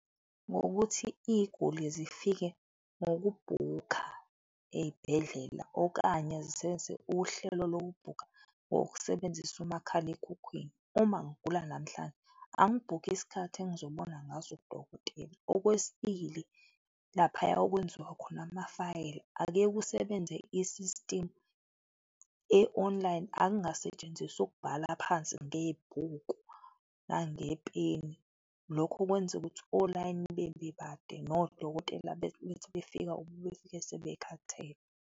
Ngokuthi iziguli zifike ngokubhukha ezibhedlela okanye zisebenzise uhlelo lokubhukha ngokusebenzisa umakhalekhukhwini, uma ngigula namhlanje, angibhukhe isikhathi engizobona ngaso udokotela. Okwesibili, laphaya okwenziwa khona amafayela, ake kusebenze i-system e-online, akungasetshenziswa ukubhala phansi ngebhuku nangepeni, lokho kwenza ukuthi olayini bebe bade nodokotela bethi befika befike sebekhathele.